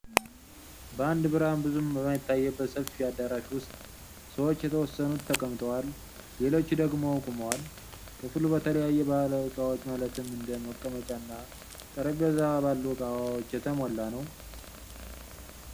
በአንድ ብርሃን ብዙም በማይታይበት ሰፊ አዳራሽ ዉስጥ ሰዎች የተወሰኑት ተቀምጠዋል ሌሎቹ ደግሞ ቆመዋል። ክፍሉ በተለያዩ ባህላዊ እቃዎች ማለትም እንደ መቀመጫ እና ጠረጴዛ ባሉ እቃዎች የተሞላ ነው።